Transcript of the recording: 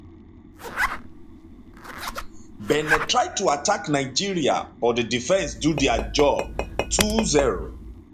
benin try to attack nigeria but di defence do dia job 20